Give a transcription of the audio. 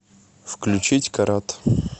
включить карат